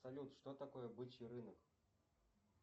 салют что такое бычий рынок